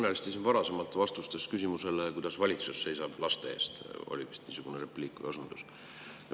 Te kõnelesite siin varasemalt küsimustele vastates, kuidas ikka valitsus seisab laste eest – oli vist niisugune repliik või osundus.